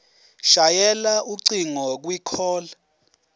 shayela ucingo kwicall